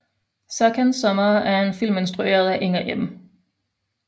Serkans sommer er en film instrueret af Inger M